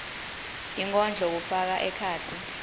tinkondlo kufaka ekhatsi